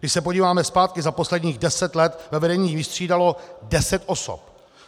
Když se podíváme zpátky, za posledních deset let ve vedení vystřídalo deset osob.